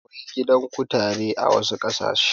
Akwai gidan kutare a wasu ƙasashen.